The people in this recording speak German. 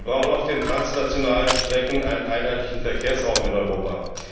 Wir brauchen auf den transnationalen Strecken einen einheitlichen Verkehrsraum in Europa.